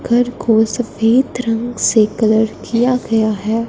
घर को सफेद रंग से कलर किया गया है।